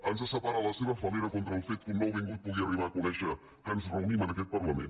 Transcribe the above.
ens separa la seva fal·lera contra el fet que un nouvingut pugui arribar a conèixer que ens reunim en aquest parlament